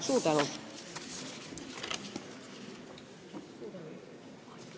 Suur tänu!